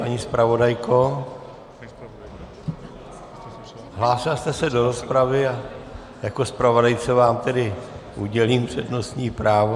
Paní zpravodajko, hlásila jste se do rozpravy a jako zpravodajce vám tedy udělím přednostní právo.